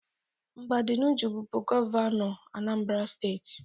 Mbadinuju bụbu gọvanọ obodo Anambra steeti.